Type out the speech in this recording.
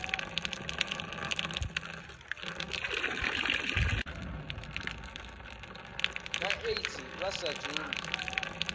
na aids vha sa dzumbi